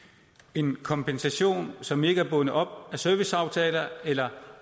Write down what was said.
en kompensation som ikke er bundet op på serviceaftaler eller